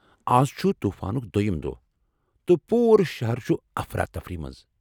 آز چھ طوفانُک دۄیم دۄہ ، تہٕ پوٗرٕ شہر چھ افراتفری منٛز ۔